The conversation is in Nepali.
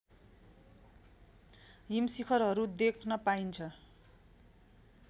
हिमशिखरहरू देख्न पाइन्छ